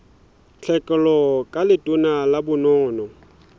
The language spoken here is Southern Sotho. tlhekelo ka letona la bonono